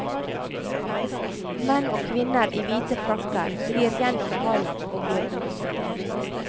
Menn og kvinner i hvite frakker glir gjennom hallen og blir borte.